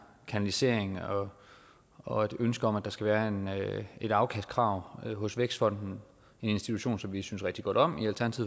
kanalisering og det ønske om at der skal være et afkastkrav hos vækstfonden en institution som vi synes rigtig godt om